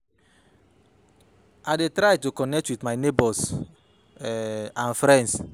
I dey try to connect with my neighbors um and friends.